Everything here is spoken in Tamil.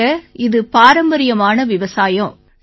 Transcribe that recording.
ஆமாங்க இது பாரம்பரியமான விவசாயம்